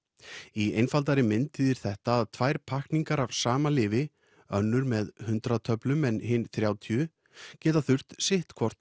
í einfaldaðri mynd þýðir þetta að tvær pakkningar af sama lyfi nnur með hundrað töflum en hin þrjátíu geta þurft sitt hvort